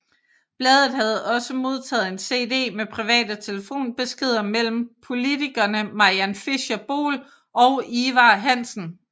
Bladet havde også modtaget en CD med private telefonbeskeder mellem politikerne Mariann Fischer Boel og Ivar Hansen